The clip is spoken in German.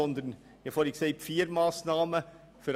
Ich habe vorhin von vier Massnahmen gesprochen.